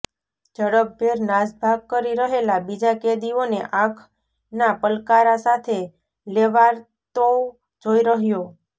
ઝડપભેર નાસભાગ કરી રહેલા બીજા કેદીઓને આંખના પલકારા સાથે લેવાર્તોવ જોઈ રહ્યો